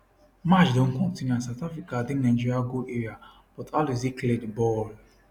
match don continue and south africa dey nigeria goal area but alozie clear di ball